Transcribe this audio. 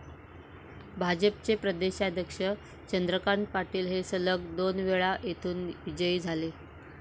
भाजपचे प्रदेशाध्यक्ष चंद्रकांत पाटील हे सलग दोनवेळा येथून विजयी झाले.